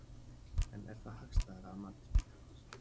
En er það hagstæðara að mati spítalans?